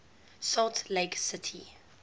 salt lake city